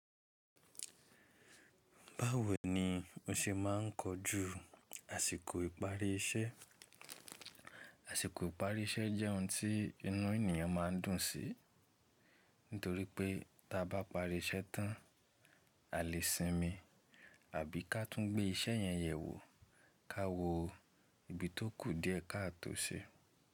Báwo ni o ṣe máa ń kojú àsìkò ìparí iṣẹ́? Àsìkò ìparí iṣẹ́ jẹ́ ohun tí inú ènìyàn máa ń dùn sí, nítorí pé tí a bá parí iṣẹ́ tán a lè sinmi àbí ká tú gbé iṣẹ́ yẹn yẹ̀ wò ká wo ibi tó kù díẹ̀ ká tun ṣe.